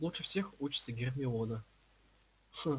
лучше всех учится гермиона